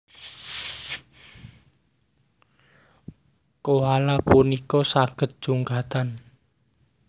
Koala punika saged jungkatan